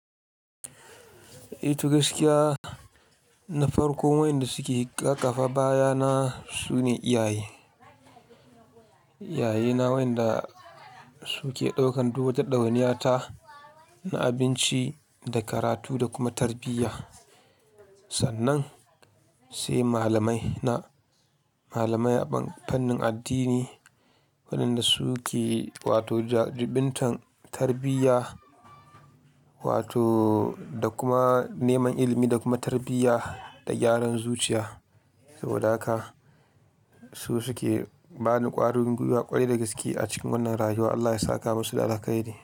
Eh, to gaskiya na farko wayanda suke ƙaƙafa baya na su ne iyaye. Iyaye na wayanda su ke ɗaukan duk wata ɗawaniya ta na abinci da karatu da kuma tarbiyya. Sannan sai malamai na, malamai a fannin addini waɗanda su ke wato jibintan tarbiyya wato da kuma neman ilimi da kuma tarbiyya da gyaran zuciya. Saboda haka su suke bani ƙwarin gwiwa ƙwarai da gaske a cikin wannan rayuwa. Allah ya saka musu alhakai ne.